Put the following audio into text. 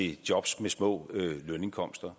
i jobs med små lønindkomster